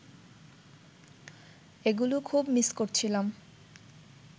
এগুলো খুব মিস করছিলাম